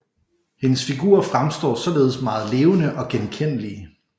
Hendes figurer fremstår således meget levende og genkendelige